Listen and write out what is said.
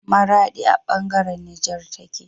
Maradi a bangaran Niger tace